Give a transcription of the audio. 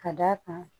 Ka d'a kan